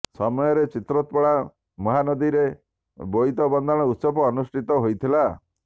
ସମୟରେ ଚିତ୍ରୋତ୍ପଳା ମହାନଦୀରେ ବୋଇତ ବନ୍ଦାଣ ଉତ୍ସବ ଅନୁଷ୍ଠିତ ହୋଇଥିଲା